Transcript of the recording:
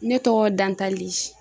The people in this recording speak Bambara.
Ne tɔgɔ ye DANTALI.